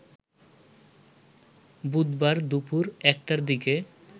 বুধবার দুপুর ১টার দিকে